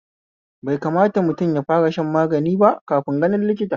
Bai kamata mutum yafara shan magani ba kafin ganin likita